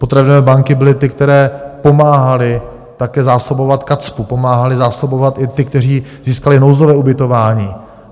Potravinové banky byly ty, které pomáhaly také zásobovat KACPU, pomáhaly zásobovat i ty, kteří získali nouzové ubytování.